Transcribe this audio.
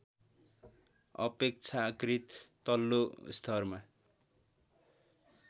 अपेक्षाकृत तल्लो स्तरमा